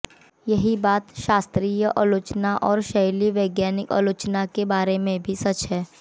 यही बात शास्त्रीय आलोचना और शैली वैज्ञानिक आलोचना के बारे में भी सच है